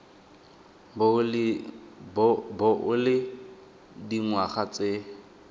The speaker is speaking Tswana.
bo o le dingwaga tse